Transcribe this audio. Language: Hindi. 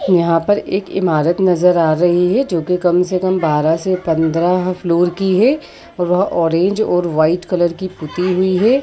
यहाँ पर एक ईमारत नज़र आ रही है जो के कम से कम बारह से पंद्रह फ्लोर की है और वह ऑरेंज और व्हाईट की पुति हुईं है।